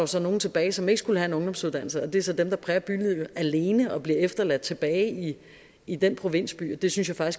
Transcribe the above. så nogle tilbage som ikke skulle have en ungdomsuddannelse og det er så dem der præger bylivet alene og bliver efterladt tilbage i den provinsby og det synes jeg